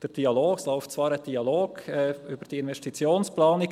Es läuft zwar ein Dialog über diese Investitionsplanung.